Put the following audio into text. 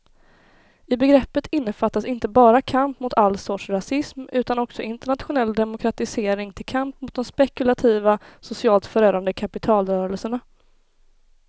I begreppet innefattas inte bara kamp mot all sorts rasism utan också internationell demokratisering till kamp mot de spekulativa, socialt förödande kapitalrörelserna.